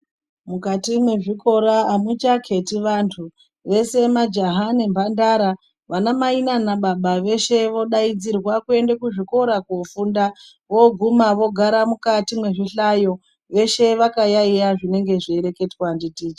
Mukati mwezvikora amuchakheti vantu, veshe majaha nemhandara, anamai naana baba veshe vodaidzirwa kuende kuzvikora koofunda. Vooguma vogara mukati mwezvihlayo, veshe vakayaeya zvinenge zveireketwa ndi ticha.